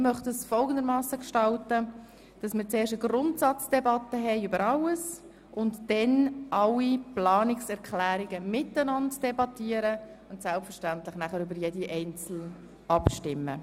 » Ich möchte zuerst eine Grundsatzdebatte über alles führen, dann über alle Planungserklärungen gemeinsam debattieren und schliesslich über jede Planungserklärung einzeln abstimmen.